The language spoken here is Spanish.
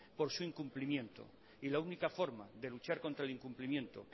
por su incumplimiento y la única forma de luchar contra el incumplimiento